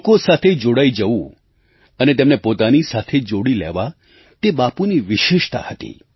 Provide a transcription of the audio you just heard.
લોકો સાથે જોડાઈ જવું અને તેમને પોતાની સાથે જોડી લેવા તે બાપુની વિશેષતા હતી